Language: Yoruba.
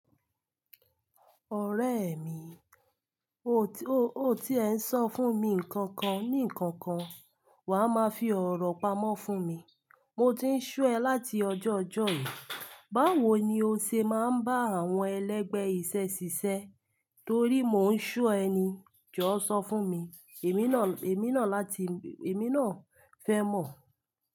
Ọ̀rẹ́ mi, o tí ẹ ń sọ fún mi kankan ní kankan, wà á máa fi ọ̀rọ̀ pamọ́ fún mi. Mo ti ń sọ ẹ láti ọjọ́ ọ̀jọ́ yi, báwo ni o ṣe máa ń bá àwọn ẹlẹgbẹ́ iṣẹ́ ṣiṣẹ́? Torí mo ń ṣo ẹ ni, jọ sọ fún mi, èmi náà fẹ́ mọ̀.